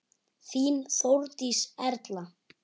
Þín Þórdís Erla.